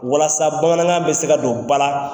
Walasa bamanankan bɛ se ka don ba la.